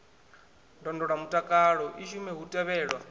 ndondolamutakalo i shume hu tevhelwa